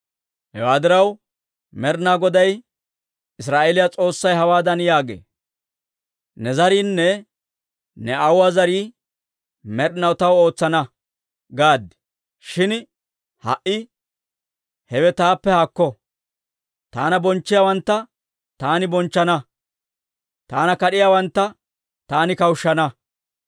«Hewaa diraw, Med'inaa Goday Israa'eeliyaa S'oossay hawaadan yaagee; ‹Ne zariinne ne aawuwaa zarii med'inaw taw ootsana› gaad; shin ha"i, hewe taappe haakko! Taana bonchchiyaawantta taani bonchchana; taana kad'iyaawantta taani kawushshana.